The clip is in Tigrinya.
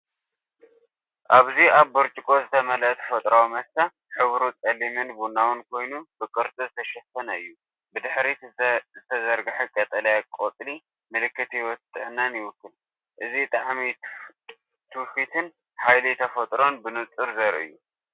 ኣብዚ ኣብ ብርጭቆ ዝተመልአ ተፈጥሮኣዊ መስተ፡ ሕብሩ ጸሊምን ቡናውን ኮይኑ፡ ብቅርጺ ዝተሸፈነ እዩ። ብድሕሪት ዝተዘርገሐ ቀጠልያ ቆጽሊ ምልክት ህይወትን ጥዕናን ይውክል። እዚ ጣዕሚ ትውፊትን ሓይሊ ተፈጥሮን ብንጹር ዘርኢ እዩ።